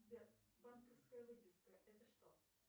сбер банковская выписка это что